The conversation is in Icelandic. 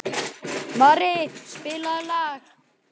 Mari, spilaðu lag.